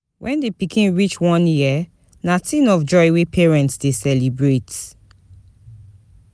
When di pikin reach one year na thing of joy wey parents dey celebrate